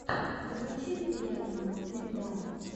закачай приятного ильдара